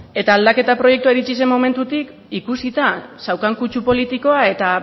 eta aldaketa proiektua iritsi zen momentutik ikusita zeukan kutsu politikoa eta